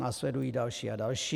Následují další a další.